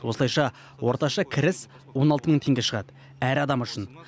осылайша орташа кіріс он алты мың теңге шығады әр адам үшін